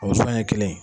O sɔn ɲɛ kelen